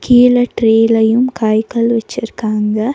கிழ ட்ரேலயும் காய்கள் வச்சிருக்காங்க.